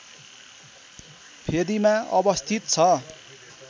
फेदीमा अवस्थित छ